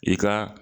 I ka